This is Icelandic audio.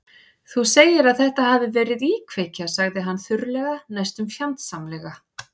Þú segir að þetta hafi verið íkveikja- sagði hann þurrlega, næstum fjandsamlega.